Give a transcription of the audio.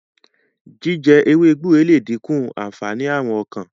jíjẹ ewé gbúre le dinku ànfàní Àrùn ọkàn.